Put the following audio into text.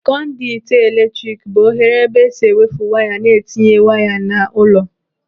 Konditu eletrik bụ oghere ebe esi ewefe waya ma a na-etinye waya n'ụlọ.